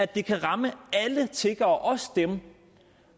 der kan ramme alle tiggere også dem